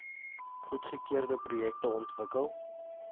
goedgekeurde projekte ontwikkel